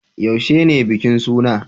Yaushe ne bikin suna?